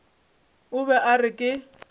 o be a re ke